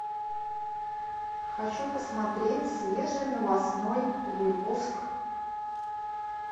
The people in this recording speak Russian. хочу посмотреть свежий новостной выпуск